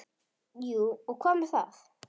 Jú og hvað með það!